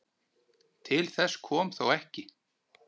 Til þess kom þó ekki.